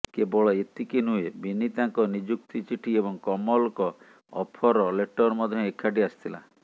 କେବଳ ଏତିକି ନୁହେଁ ବିନୀତାଙ୍କ ନିଯୁକ୍ତି ଚିଠି ଏବଂ କମଲଙ୍କ ଅଫର ଲେଟର୍ ମଧ୍ୟ ଏକାଠି ଆସିଥିଲା